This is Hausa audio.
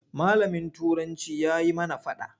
Malamin Turanci ya yi mana faɗa.